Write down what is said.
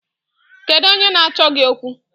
Kedu onye na-achọ gị okwu?